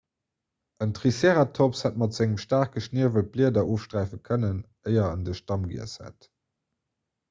en triceratops hätt mat sengem staarke schniewel d'blieder ofsträife kënnen éier en de stamm giess hätt